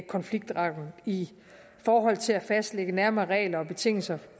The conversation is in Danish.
konfliktretten i forhold til at fastlægge nærmere regler og betingelser